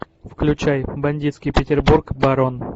включай бандитский петербург барон